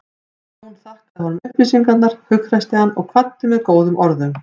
Jón þakkaði honum upplýsingarnar, hughreysti hann og kvaddi með góðum orðum.